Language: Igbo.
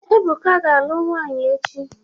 Ebụka ga-alụ nwaanyị echi.